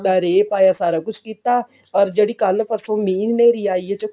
ਦਾ ਰੇਹ ਪਾਇਆ ਸਾਰਾ ਕੁਝ ਕੀਤਾ ਓਰ ਜਿਹੜੀ ਕੱਲ ਪਰਸੋ ਮੀਹ ਨੇਰੀ ਆਈ ਆ